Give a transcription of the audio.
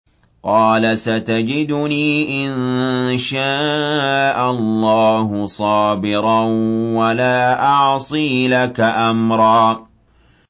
قَالَ سَتَجِدُنِي إِن شَاءَ اللَّهُ صَابِرًا وَلَا أَعْصِي لَكَ أَمْرًا